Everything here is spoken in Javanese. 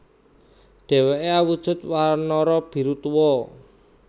Dheweke awujud wanara biru tuwa